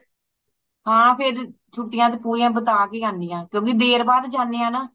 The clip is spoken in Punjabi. ਹਾਂ ਫੇਰ ਤੇ ਛੁਟੀਆਂ ਪੂਰੀਆਂ ਬਿਤਾ ਕੇ ਹੀ ਏਨੀ ਆ ਕਿਉਂਕਿ ਦੇਰ ਬਾਅਦ ਜਾਣੀ ਆ ਨਾ